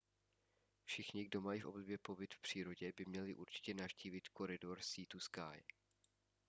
všichni kdo mají v oblibě pobyt v přírodě by měli určitě navštívit koridor sea to sky